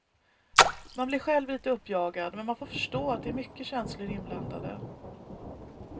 Man blir själv lite uppjagad, men man får förstå att det är mycket känslor inblandade.